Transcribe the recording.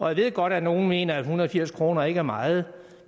jeg ved godt at nogle mener at en hundrede og firs kroner ikke er meget